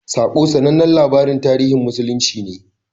"Saƙo" sanannen labarin tarihin musulunci ne.